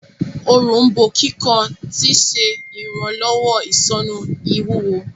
Òrombó kíkan tí ṣe iranlọwọ isonu ìwúwo.